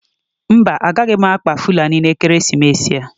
Mba, agaghị m akpa fulani n'ekeresimesi a.